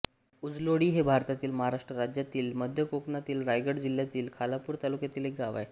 उजलोळी हे भारतातील महाराष्ट्र राज्यातील मध्य कोकणातील रायगड जिल्ह्यातील खालापूर तालुक्यातील एक गाव आहे